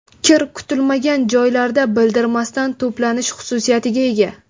Kir kutilmagan joylarda bildirmasdan to‘planish xususiyatiga ega.